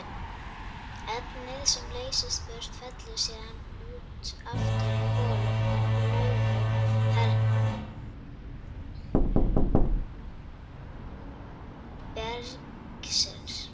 Efnið sem leysist burt fellur síðan út aftur í holum og glufum bergsins.